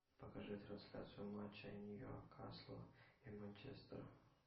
покажи трансляцию матча ньюкасла и манчестера